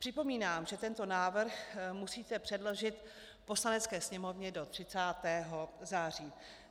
Připomínám, že tento návrh musíte předložit Poslanecké sněmovně do 30. září.